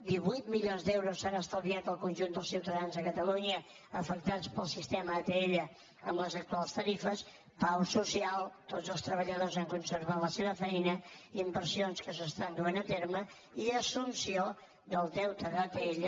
divuit milions d’euros s’han estalviat el conjunt dels ciutadans de catalunya afectats pel sistema atll amb les actuals tarifes pau social tots els treballadors han conservat la seva feina inversions que s’estan duent a terme i assumpció del deute d’atll